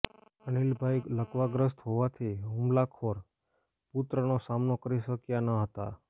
અનિલભાઈ લકવાગ્રસ્ત હોવાથી હુમલાખોર પુત્રનો સામનો કરી શક્યા ન હતા